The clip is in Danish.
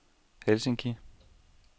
Helsinki